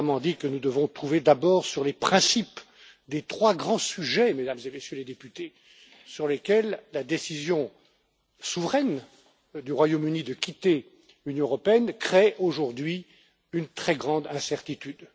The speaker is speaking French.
Et il a clairement dit que nous devons d'abord trouver un accord sur les principes des trois grands sujets, Mesdames et Messieurs les députés, sur lesquels la décision souveraine du Royaume Uni de quitter l'Union européenne crée aujourd'hui une très grande incertitude.